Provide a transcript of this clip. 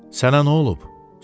Sənə nə olub?